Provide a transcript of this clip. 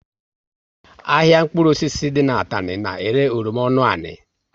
Ahịa mkpụrụ osisi dị n'Atani na ere oroma ọnụ ani